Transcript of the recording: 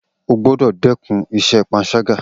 O gbọ́dọ̀ dẹ́kun ìṣe panṣágà